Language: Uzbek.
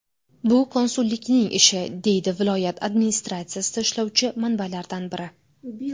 Bu konsullikning ishi”, deydi viloyat administratsiyada ishlovchi manbalardan biri.